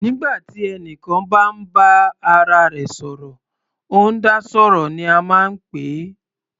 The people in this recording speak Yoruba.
Nígbà tí ẹnìkan bá ń bá ara rẹ̀ sọ̀rọ̀, ó ń dá sọ̀rọ̀ ní a máa ń pè é.